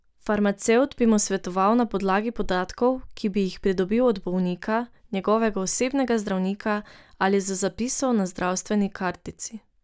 Farmacevt bi mu svetoval na podlagi podatkov, ki bi jih pridobil od bolnika, njegovega osebnega zdravnika ali z zapisov na zdravstveni kartici.